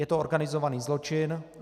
Je to organizovaný zločin.